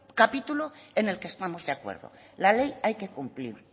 capítulo en la que estamos de acuerdo la ley hay que cumplirla